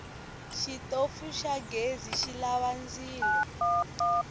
xitofu xa ghezi xilava ndzilo